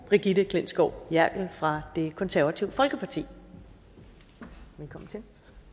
brigitte klintskov jerkel fra det konservative folkeparti velkommen til